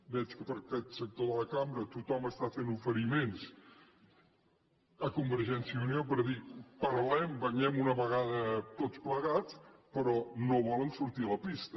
veig que per aquest sector de la cambra tothom fa oferiments a convergència i unió per dir parlem ballem una vegada tots plegats però no volen sortir a la pista